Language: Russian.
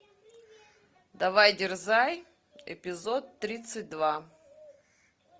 давай дерзай эпизод тридцать два